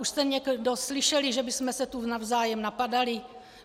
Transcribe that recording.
Už jste někdo slyšel, že bychom se tu navzájem napadaly?